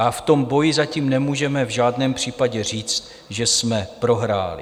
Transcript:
A v tom boji zatím nemůžeme v žádném případě říct, že jsme prohráli.